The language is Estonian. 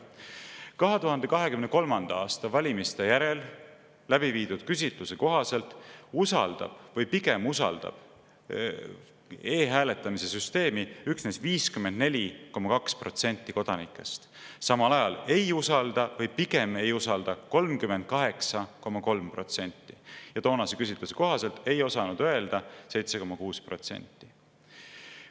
2023. aasta valimiste järel läbi viidud küsitluse kohaselt usaldab või pigem usaldab e-hääletamise süsteemi üksnes 54,2% kodanikest, samal ajal ei usalda või pigem ei usalda 38,3% ja toonase küsitluse kohaselt ei osanud öelda 7,6%.